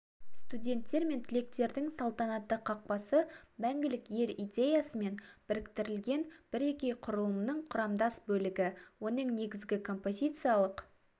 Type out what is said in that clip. студенттер мен түлектердің салтанатты қақпасы мәңгілік ел идеясымен біріктірілген бірегей құрылымның құрамдас бөлігі оның негізгі композициялық